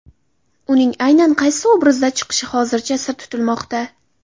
Uning aynan qaysi obrazda chiqishi hozircha sir tutilmoqda.